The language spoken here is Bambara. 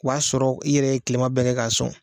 O y'a sɔrɔ i yɛrɛ ye tilema bɛɛ kɛ k'a sɔn.